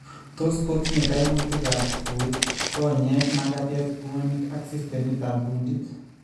Tot kotinye kaimutik ab kowek, konyek, makatet, bwonik ak systemit ab kundit